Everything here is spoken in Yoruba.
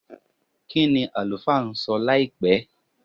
kini alufa nso láìpé